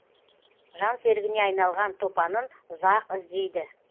жан серігіне айналған топанын ұзақ іздейді